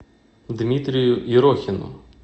дмитрию ерохину